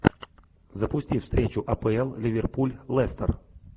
запусти встречу апл ливерпуль лестер